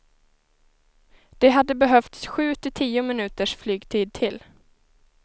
Det hade behövts sju till tio minuters flygtid till.